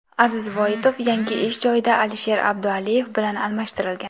Aziz Voitov yangi ish joyida Alisher Abdualiyev bilan almashtirilgan.